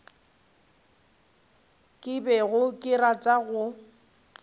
ke bego ke rata go